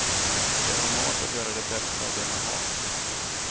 Det är normalt att göra det bästa av det man har.